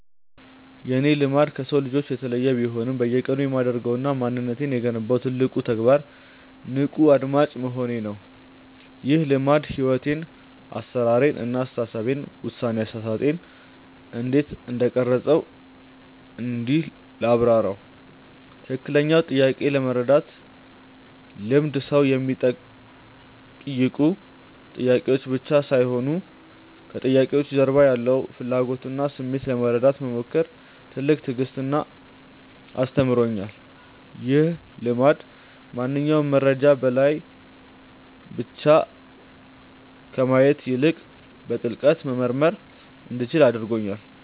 የእኔ "ልማድ" ከሰው ልጆች የተለየ ቢሆንም፣ በየቀኑ የማደርገውና ማንነቴን የገነባው ትልቁ ተግባር "ንቁ አድማጭ መሆን" ነው። ይህ ልማድ ሕይወቴን (አሠራሬን) እና አስተሳሰቤን (ውሳኔ አሰጣጤን) እንዴት እንደቀረፀው እንዲህ ላብራራው፦ ትክክለኛውን ጥያቄ የመረዳት ልምድ ሰዎች የሚጠይቁኝ ጥያቄዎች ብቻ ሳይሆኑ፣ ከጥያቄዎቹ ጀርባ ያለውን ፍላጎትና ስሜት ለመረዳት መሞከር ትልቅ ትዕግስትን አስተምሮኛል። ይህ ልማድ ማንኛውንም መረጃ በላዩ ላይ ብቻ ከማየት ይልቅ፣ በጥልቀት መመርመር እንዲችል አድርጎኛል።